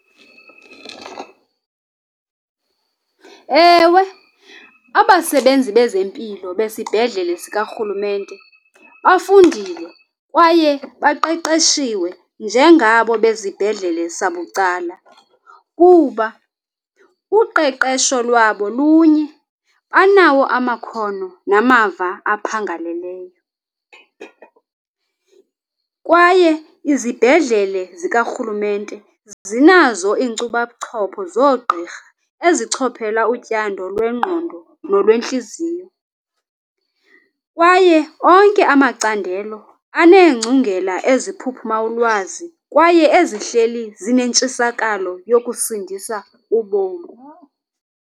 Ewe, abasebenzi bezempilo besibhedlele sikarhulumente bafundile kwaye baqeqeshiwe njengabo bezibhledlele sabucala kuba uqeqesho lwabo lunye, banawo amakhono namava aphangaleleyo. Kwaye izibhedlele zikarhulumente zinazo iinkcubabuchopho zoogqirha ezichophela utyando lwengqondo nolwentliziy,o kwaye onke amacandelo aneengcungela eziphuphuma ulwazi kwaye ezihleli zinentshisakalo yokusindisa ubomi.